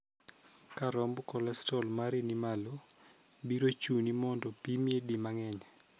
Ka romb kolestrol mari ni malo, biro chuni mondo pimi di mang'eny.